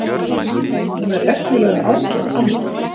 Hún er reglulega ágæt amma.